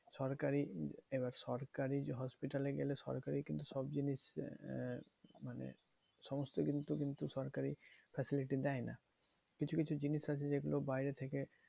সরকারি এবার সরকারি hospital এ গেলে সরকারি কিন্তু সব জিনিস আহ মানে সমস্তকিছু কিন্তু সরকারি facility দেয় না। কিছু কিছু জিনিস আছে যেগুলো বাইরে থেকে